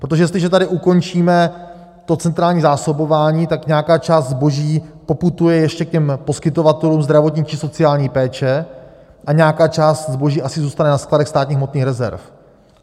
Protože jestliže tady ukončíme to centrální zásobování, tak nějaká část zboží poputuje ještě k těm poskytovatelům zdravotní či sociální péče a nějaká část zboží asi zůstane ve skladech státních hmotných rezerv.